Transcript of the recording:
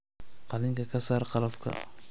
qalinka ka saar qalabka